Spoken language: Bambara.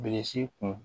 Bilisi kun